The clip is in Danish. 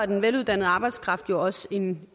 den veluddannede arbejdskraft jo også en